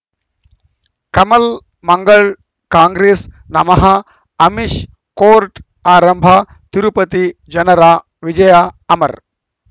ಕಮಲ್ ಮಂಗಳ್ ಕಾಂಗ್ರೆಸ್ ನಮಃ ಅಮಿಷ್ ಕೋರ್ಟ್ ಆರಂಭ ತಿರುಪತಿ ಜನರ ವಿಜಯ ಅಮರ್